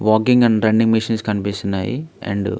walking and running machines కనిపిస్తున్నాయి and --